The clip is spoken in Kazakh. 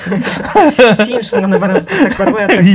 сен үшін ғана барамыз десек бар ғой